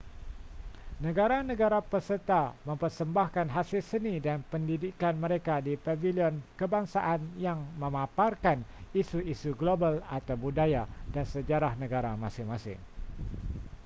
negara-negara peserta mempersembahkan hasil seni dan pendidikan mereka di pavilion kebangsaan yang memaparkan isu-isu global atau budaya dan sejarah negara masing-masing